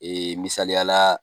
Ee misaliya la